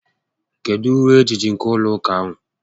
Kedu uwe ejiji nke ụlọ ụka a?